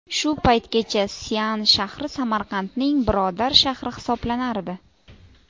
Shu paytgacha Sian shahri Samarqandning birodar shahri hisoblanardi.